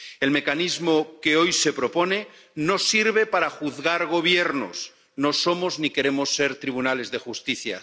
El mecanismo que hoy se propone no sirve para juzgar gobiernos, no somos ni queremos ser tribunales de justicia.